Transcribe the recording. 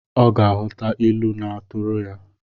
Ọ ga-aghọta ilu na-atụrụ ya